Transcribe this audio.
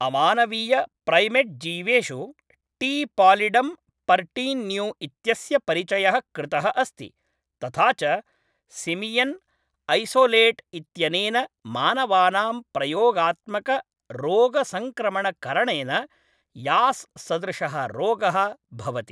अमानवीय प्रैमेट्जीवेषु, T. Pallidum pertenue इत्यस्य परिचयः कृतः अस्ति, तथा च सिमियन् ऐसोलेट् इत्यनेन मानवानां प्रयोगात्मक रोगसङ्क्रमण करणेन यास् सदृशः रोगः भवति।